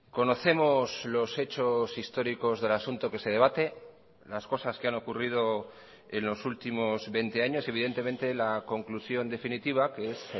conocemos los hechos históricos del asunto que se debate las cosas que han ocurrido en los últimos veinte años evidentemente la conclusión definitiva que es